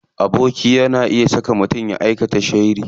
Aboki na iya saka mutum ya aika sharri.